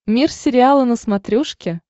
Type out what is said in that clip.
мир сериала на смотрешке